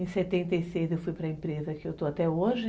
Em setenta e seis eu fui para a empresa que eu estou até hoje.